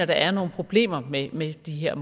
der er nogle problemer med med de her